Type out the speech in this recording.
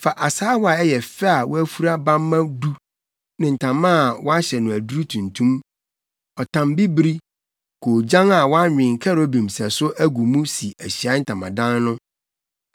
“Fa asaawa a ɛyɛ fɛ a woafura bamma du ne ntama a wɔahyɛ no aduru tuntum, ɔtam bibiri, koogyan a wɔanwen kerubim sɛso agu mu si Ahyiae Ntamadan no.